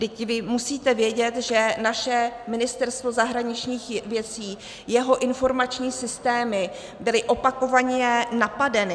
Vždyť vy musíte vědět, že naše Ministerstvo zahraničních věcí, jeho informační systémy byly opakovaně napadeny.